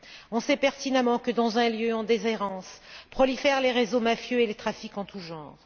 On sait pertinemment que, dans un lieu en déshérence, prolifèrent les réseaux mafieux et les trafics en tous genres.